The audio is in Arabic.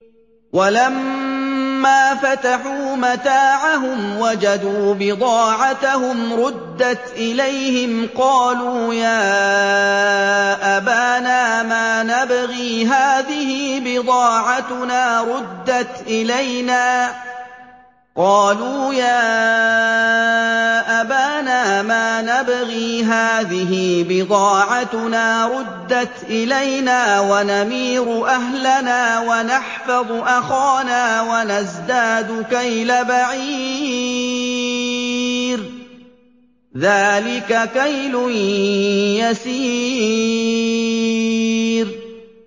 وَلَمَّا فَتَحُوا مَتَاعَهُمْ وَجَدُوا بِضَاعَتَهُمْ رُدَّتْ إِلَيْهِمْ ۖ قَالُوا يَا أَبَانَا مَا نَبْغِي ۖ هَٰذِهِ بِضَاعَتُنَا رُدَّتْ إِلَيْنَا ۖ وَنَمِيرُ أَهْلَنَا وَنَحْفَظُ أَخَانَا وَنَزْدَادُ كَيْلَ بَعِيرٍ ۖ ذَٰلِكَ كَيْلٌ يَسِيرٌ